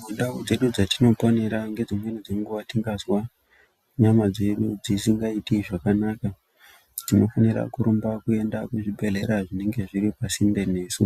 Mundau dzedu dzatinoponera ngedzimweni dzenguwa tingazwa nyama dzedu dzisingaiti zvakanaka tinofanira kurumba kuenda kuzvibhedhleya zviri pasinde nesu